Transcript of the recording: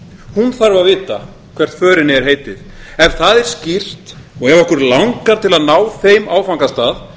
hún þarf að vita hvert förinni er heitið ef það er skýrt og ef okkur langar til að ná þeim áfangastað